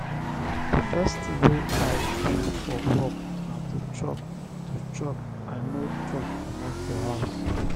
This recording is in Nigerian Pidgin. the first thing wey i do for work na to chop to chop i no chop comot for house